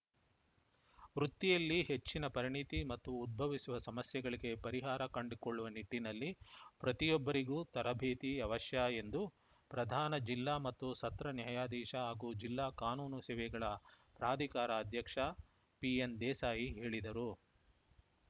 ವೃತ್ತಿಯಲ್ಲಿ ಹೆಚ್ಚಿನ ಪರಿಣತಿ ಮತ್ತು ಉದ್ಭವಿಸುವ ಸಮಸ್ಯೆಗಳಿಗೆ ಪರಿಹಾರ ಕಂಡುಕೊಳ್ಳುವ ನಿಟ್ಟಿನಲ್ಲಿ ಪ್ರತಿಯೊಬ್ಬರಿಗೂ ತರಬೇತಿ ಅವಶ್ಯ ಎಂದು ಪ್ರಧಾನ ಜಿಲ್ಲಾ ಮತ್ತು ಸತ್ರ ನ್ಯಾಯಾಧೀಶ ಹಾಗೂ ಜಿಲ್ಲಾ ಕಾನೂನು ಸೇವೆಗಳ ಪ್ರಾಧಿಕಾರ ಅಧ್ಯಕ್ಷ ಪಿಎನ್‌ದೇಸಾಯಿ ಹೇಳಿದರು